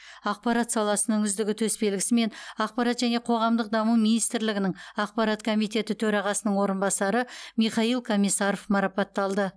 ақпарат саласының үздігі төсбелгісімен ақпарат және қоғамдық даму министрлігінің ақпарат комитеті төрағасының орынбасары михаил комиссаров марапатталды